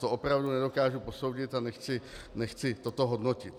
To opravdu nedokážu posoudit a nechci toto hodnotit.